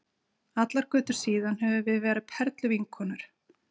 Allar götur síðan höfum við verið perluvinkonur.